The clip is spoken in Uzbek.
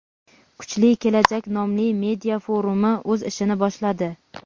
kuchli kelajak nomli media-forumi o‘z ishini boshladi.